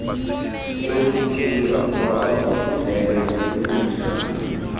yokutshiswa kwababhuhileyo imingcwabo